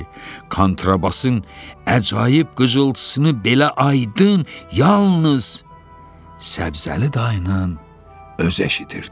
kontrabasın əcaib qızıltısını belə aydın yalnız Səbzəli dayının özü eşidirdi.